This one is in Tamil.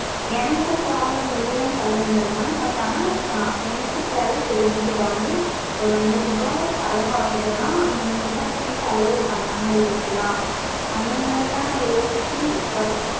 எனக்கும் problem இல்லன்னு சொல்ல முடியாது mam but ஆனா எனக்கு தேவ savings இப்ப வந்து ஒரு நூறு ரூபா செலவு ஆகுதுனா அந்த நூறு ரூபா எப்படி செலவு பண்ணாம இருக்கலாம் அந்த மாதிரி தான் நா யோசிச்சு இப்ப